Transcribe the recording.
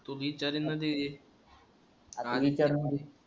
तूल बी चारण ते जे